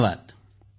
धन्यवाद